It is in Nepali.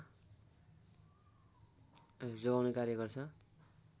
जोगाउने कार्य गर्छ